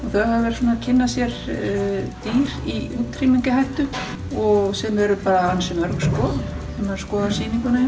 þau hafa verið svona að kynna sér dýr í útrýmingarhættu sem eru bara ansi mörg sko ef maður skoðar sýninguna